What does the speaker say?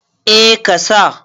A ka sa